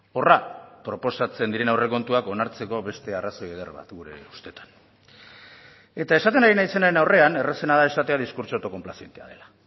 horra proposatzen diren aurrekontuak onartzeko beste arrazoi eder bat gure ustetan eta esaten ari naizenaren aurrean errazena da esatea diskurtso auto konplazientea dela